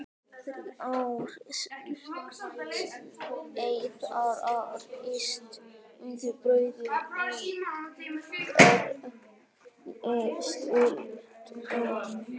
Þrjár sneiðar af ristuðu brauði en hvernig sultu?